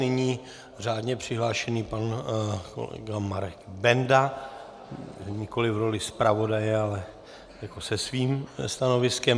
Nyní řádně přihlášený pan kolega Marek Benda, nikoliv v roli zpravodaje, ale se svým stanoviskem.